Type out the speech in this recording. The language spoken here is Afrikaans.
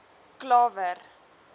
klawer